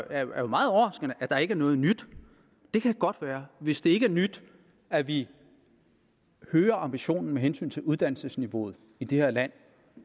er meget overraskende at der ikke er noget nyt det kan godt være hvis det ikke er nyt at vi øger ambitionen med hensyn til uddannelsesniveauet i det her land